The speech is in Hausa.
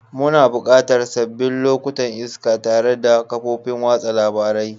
Muna buƙatan sabbin lokutan iska tare da kafofin watsa labarai.